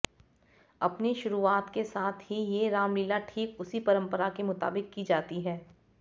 अपनी शुरुआत के साथ ही ये रामलीला ठीक उसी परंपरा के मुताबिक की जाती है